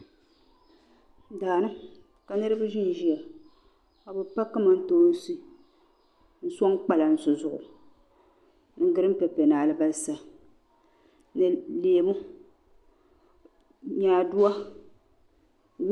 Daani ka niribi ʒiya kabi pa kamantoonsi n sɔŋ kpalansi zuɣu ni gereen pepe ni albasa leemu nyaaduwa